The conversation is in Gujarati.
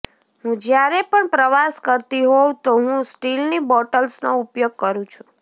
હું જ્યારે પણ પ્રવાસ કરતી હોઉં તો હું સ્ટીલની બોટલ્સનો ઉપયોગ કરું છું